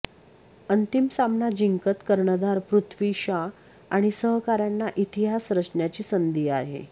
अंतिम सामना जिंकत कर्णधार पृथ्वी शॉ आणि सहकाऱ्यांना इतिहास रचण्याची संधी आहे